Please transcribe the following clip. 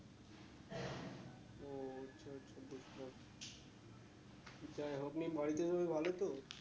ও আচ্ছা আচ্ছা বুঝলাম যাই হোক এমনি বাড়িতে সবাই ভালো তো?